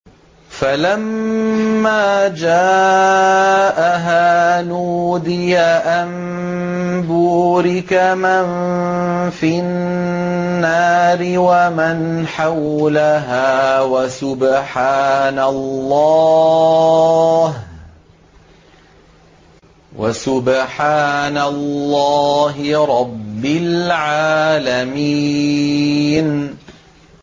فَلَمَّا جَاءَهَا نُودِيَ أَن بُورِكَ مَن فِي النَّارِ وَمَنْ حَوْلَهَا وَسُبْحَانَ اللَّهِ رَبِّ الْعَالَمِينَ